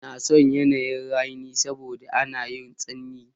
N'na son yanayin ra'ni saboda ana yawan tsanyi.